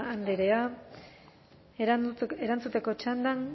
andrea erantzuteko txandan